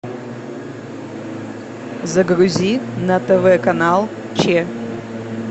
загрузи на тв канал че